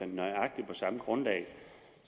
nøjagtig samme grundlag